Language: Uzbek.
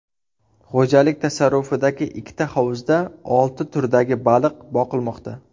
Xo‘jalik tasarrufidagi ikkita hovuzda olti turdagi baliq boqilmoqda.